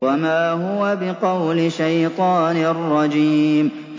وَمَا هُوَ بِقَوْلِ شَيْطَانٍ رَّجِيمٍ